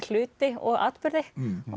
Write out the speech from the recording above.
hluti og atburði